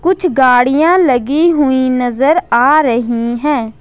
कुछ गाड़ियां लगी हुई नजर आ रही है।